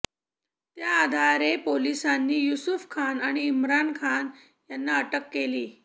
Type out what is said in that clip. त्या आधारे पोलिसांनी युसूफ खान आणि इम्रान खान यांना अटक केली